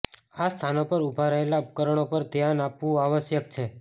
આ સ્થાનો પર ઊભા રહેલા ઉપકરણો પર ધ્યાન આપવું આવશ્યક છે